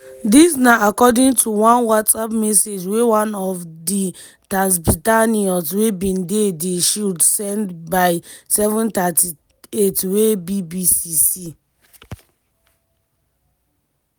dis na according to one whatsapp message wey one of di tatzpitaniyot wey bin dey di shield send by07:38wey bbc see.